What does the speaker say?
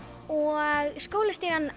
og